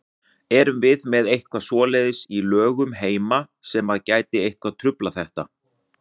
Erum við með eitthvað svoleiðis í lögum heima sem að gæti eitthvað truflað þetta?